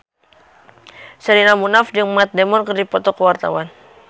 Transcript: Sherina Munaf jeung Matt Damon keur dipoto ku wartawan